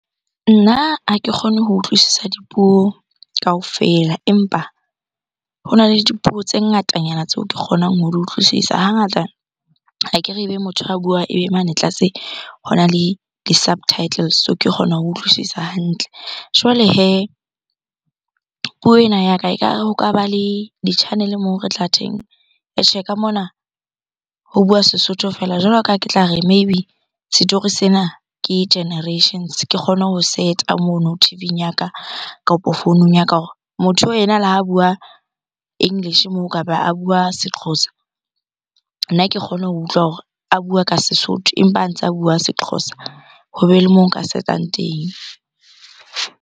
Nna ha ke kgone ho utlwisisa dipuo kaofela, empa hona le dipuo tse ngatanyana tseo ke kgonang ho di utlwisisa. Hangata akere ebe motho a buang ebe mane tlase hona le di subtitles, so ke kgona ho utlwisisa hantle. Jwale hee, puo ena ya ka ekare ho ka ba le di-channel-e moo re tla ka mona ho bua Sesotho feela. Jwalo ka ha ke tla re maybe story sena ke generations. Ke kgone ho set-a mono T_V_ing ya ka kapo founung ya ka hore motho oo yena le ha bua English moo kapa a bua Sexhosa, nna ke kgone ho utlwa hore a bua ka Sesotho, empa a ntsa bua Sexhosa. Hobe le mo nka se etsang teng.